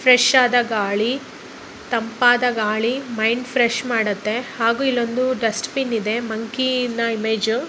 Fresh ಆದ ಗಾಳಿ ತಂಪಾದ ಗಾಳಿ ಮೈಂಡ್ ಫ್ರೆಶ್ ಮಾಡುತ್ತೆ. ಹಾಗೂ ಇಲ್ಲೊಂದು ಬೆಸ್ಟ್ ಬಿನ್ ಇದೆ ಮಂಕಿ ಇಮೇಜ್ .